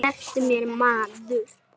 Slepptu mér maður.